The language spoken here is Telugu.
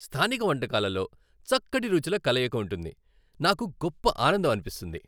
స్థానిక వంటకాలలో చక్కటి రుచుల కలయిక ఉంటుంది, నాకు గొప్ప ఆనందం అనిపిస్తుంది.